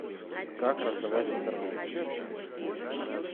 как раздавать интернет